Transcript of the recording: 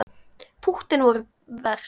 Púttin voru verst.